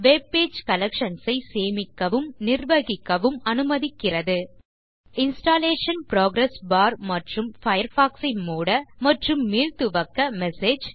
web page collections ஐ சேமிக்கவும் நிர்வகிக்கவும் அனுமதிக்கிறது இன்ஸ்டாலேஷன் புரோகிரஸ் பார் மற்றும் பயர்ஃபாக்ஸ் ஐ மூட மற்றும் மீள்துவக்க மெசேஜ்